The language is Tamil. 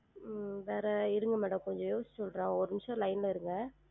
உம் வேற இருங்க madam கொஞ்சம் யோசிச்சு சொல்றன் ஒரு நிமிஷம் line ல இருங்க